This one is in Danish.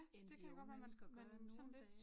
End de unge mennesker gør nu om dage